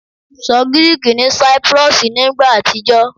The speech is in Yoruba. Sọ Giriki ni Cyprus ni igba atijọ